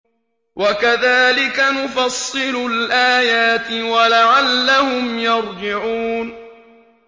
وَكَذَٰلِكَ نُفَصِّلُ الْآيَاتِ وَلَعَلَّهُمْ يَرْجِعُونَ